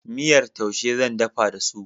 Miyar taushe zan dafa da su.